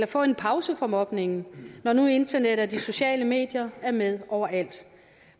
få en pause fra mobningen når nu internet og de sociale medier er med overalt